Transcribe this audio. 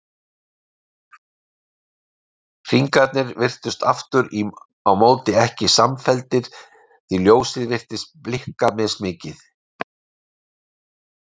Hringarnir virtust aftur á móti ekki samfelldir því ljósið virtist blikka mismikið.